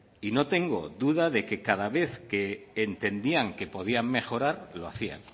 y no tengo duda de que cada vez que entendían que podían mejorar lo hacían